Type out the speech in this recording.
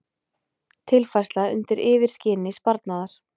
Tilfærsla undir yfirskini sparnaðar